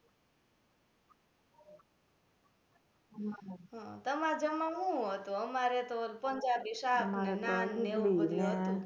તમારે જમવા મા હુ હતું અમારે તો પંજાબી શાક ને નાન ને એવુ બધુ હતુ